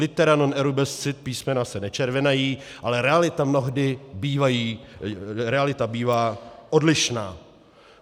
Litera non erubescit - písmena se nečervenají, ale realita mnohdy bývá odlišná.